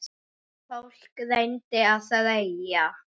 Fólk reyndi að þreyja.